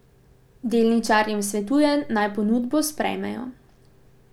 Delničarjem svetuje, naj ponudbo sprejmejo.